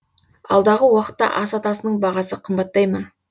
алдағы уақытта ас атасының бағасы қымбаттай ма